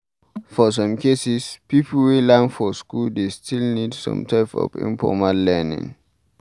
For some cases, pipo wey learn for school dey still need some type of informal learning